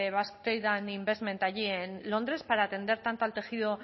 basque trade investment allí en londres para atender tanto al tejido